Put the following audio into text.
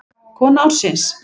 Kona ársins?